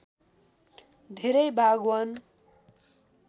धेरै भाग वन